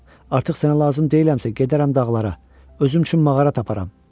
Artıq sənə lazım deyiləmsə, gedərəm dağlara, özüm üçün mağara taparam.